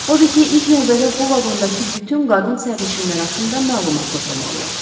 Odur ki, ilk növbədə bu vaqondakı bütün qadın sərnişinlər haqqında məlumat toplamalıyam.